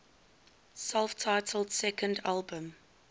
self titled second album